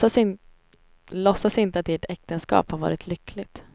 Låtsas inte att ert äktenskap har varit lyckligt.